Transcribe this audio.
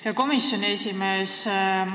Hea komisjoni esimees!